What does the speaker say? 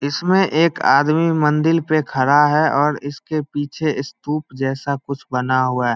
इसमें एक आदमी मंदिल पे खड़ा है और इसके पीछे स्तूप जैसा कुछ बना हुआ है।